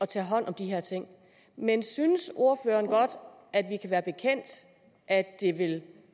tage hånd om de her ting men synes ordføreren godt at vi kan være bekendt at det vil